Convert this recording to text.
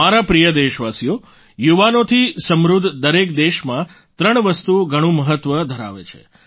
મારા પ્રિય દેશવાસીઓ યુવાનોથી સમૃદ્ધ દરેક દેશમાં ત્રણ વસ્તુ ઘણું મહત્વ ધરાવે છે